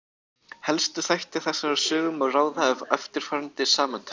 Helstu þætti þessarar sögu má ráða af eftirfarandi samantekt.